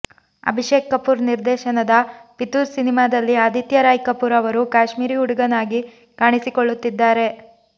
ಅಭಿಷೇಕ್ ಕಪೂರ್ ನಿರ್ದೇಶನದ ಫಿತೂರ್ ಸಿನಿಮಾದಲ್ಲಿ ಆದಿತ್ಯ ರಾಯ್ ಕಪೂರ್ ಅವರು ಕಾಶ್ಮೀರಿ ಹುಡುಗನಾಗಿ ಕಾಣಿಸಿಕೊಳ್ಳುತ್ತಿದ್ದಾರೆ